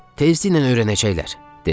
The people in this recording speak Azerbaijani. Tezliklə öyrənəcəklər, dedim.